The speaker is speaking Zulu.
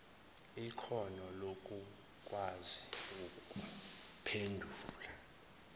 ikhono lokukwazi ukuphendula